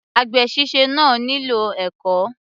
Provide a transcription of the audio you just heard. Àgbè síse náà nílò ẹ̀kọ́.